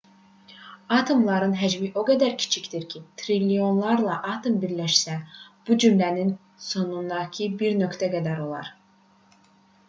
atomların həcmi o qədər kiçikdir ki triliyonlarla atom birləşsə bu cümlənin sonundakı bir nöqtə qədər olar